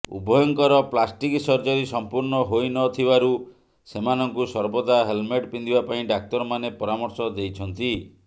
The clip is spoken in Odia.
ଉଭୟଙ୍କର ପ୍ଲାଷ୍ଟିକ୍ ସର୍ଜରି ସମ୍ପୂର୍ଣ୍ଣ ହୋଇନଥିବାରୁ ସେମାନଙ୍କୁ ସର୍ବଦା ହେଲ୍ମେଟ୍ ପିନ୍ଧିବା ପାଇଁ ଡାକ୍ତରମାନେ ପରାମର୍ଶ ଦେଇଛନ୍ତି